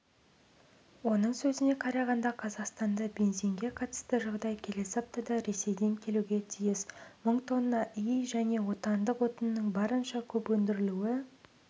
оның сөзіне қарағанда қазақстанда бензинге қатысты жағдай келесі аптада ресейден келуге тиіс мың тонна іи және отандық отынның барынша көп өндірілуі